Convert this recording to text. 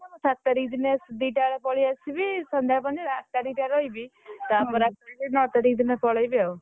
ସାତ ତାରିଖ ଦିନ ଦି ଟା ବେଳେ ପଳେଇ ଆସିବି ସନ୍ଧ୍ୟା ଦେଲେ ପହଞ୍ଚିବି ଆଠ ତାରିଖ ଟା ରହିବି ତାପରେ ନଅ ତାରିଖ ଦିନ ପଳେଇବି ଆଉ।